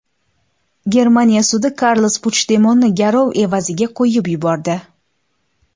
Germaniya sudi Karles Puchdemonni garov evaziga qo‘yib yubordi.